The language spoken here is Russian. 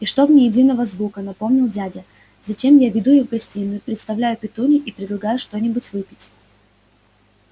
и чтоб ни единого звука напомнил дядя затем я веду их в гостиную представляю петунье и предлагаю что-нибудь выпить